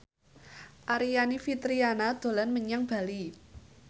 Aryani Fitriana dolan menyang Bali